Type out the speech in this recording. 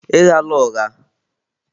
Ị ghala ụgha ụgha.